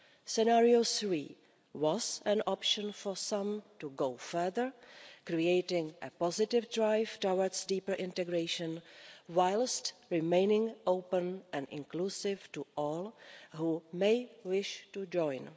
Scenario three was an option for some to go further, creating a positive drive towards deeper integration whilst remaining open and inclusive to all who may wish to join.